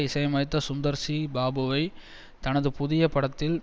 இசையமைத்த சுந்தர் சி பாபுவை தனது புதிய படத்தில்